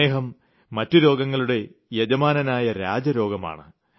പ്രമേഹം മറ്റു രോഗങ്ങളുടെ യജമാനനായ രാജരോഗമാണ്